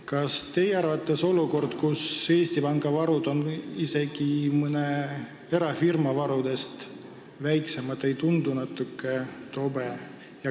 Kas teie arvates olukord, kus Eesti Panga varud on isegi mõne erafirma varudest väiksemad, ei tundu natuke tobe?